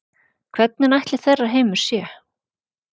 Hvernig ætli þeirra heimur sé?